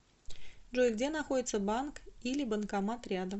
джой где находится банк или банкомат рядом